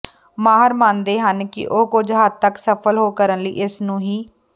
ਮਾਹਰ ਮੰਨਦੇ ਹਨ ਕਿ ਉਹ ਕੁਝ ਹੱਦ ਤਕ ਸਫਲ ਹੋ ਕਰਨ ਲਈ ਇਸ ਨੂੰ ਹੈ